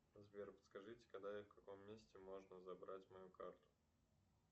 сбер подскажите когда и в каком месте можно забрать мою карту